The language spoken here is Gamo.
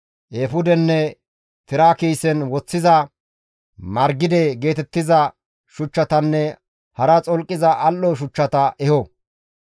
eefudenne tira kiisen woththiza margide geetettiza shuchchatanne hara xolqiza al7o shuchchata eho.